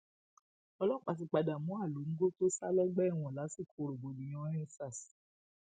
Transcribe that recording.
ọlọpàá ti padà mú alongo tó sá lọgbà ẹwọn lásìkò rògbòdìyànendsars